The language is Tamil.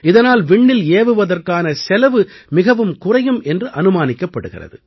இதனால் விண்ணில் ஏவுவதற்கான செலவு மிகவும் குறையும் என்று அனுமானிக்கப்படுகிறது